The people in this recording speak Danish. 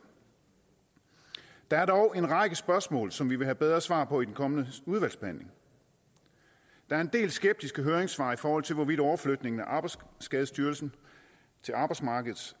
der er dog en række spørgsmål som vi vil have bedre svar på i den kommende udvalgsbehandling der er en del skeptiske høringssvar i forhold til hvorvidt overflytningen af arbejdsskadestyrelsen til arbejdsmarkedets